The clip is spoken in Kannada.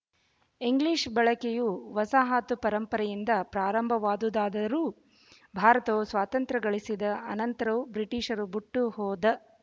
ಇಂಗ್ಲೀಷ್ ಬಳಕೆಯು ವಸಾಹತು ಪರಂಪರೆಯಿಂದ ಪ್ರಾರಂಭವಾದುದಾದರೂ ಭಾರತವು ಸ್ವಾತಂತ್ರ್ಯ ಗಳಿಸಿದ ಅನಂತರವೂ ಬ್ರಿಟಿಷರು ಬುಟ್ಟು ಹೋದ